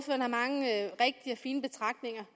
fine betragtninger